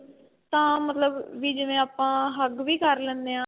ਤਾਂ ਮਤਲਬ ਵੀ ਜਿਵੇਂ ਆਪਾਂ hug ਵੀ ਕ਼ਰ ਲੈਨੇ ਆਂ